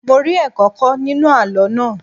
Mo rí ẹ̀kọ́ kọ́ nínú àlọ́ náà.